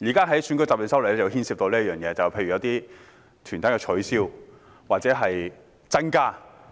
而今天討論的《條例草案》亦牽涉刪除或加入某些團體。